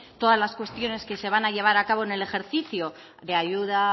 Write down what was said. todas las cuestiones que se van a llevar a cabo en el ejercicio de ayuda a